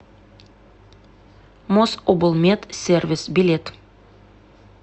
мособлмедсервис билет